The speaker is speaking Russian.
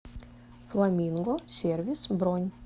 фламинго сервис бронь